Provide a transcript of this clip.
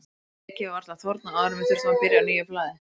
Blekið var varla þornað áður en við þurftum að byrja á nýju blaði.